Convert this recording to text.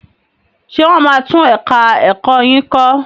Ṣé wọ́n máa tún ẹ̀ka ẹ̀kọ́ yín kọ́?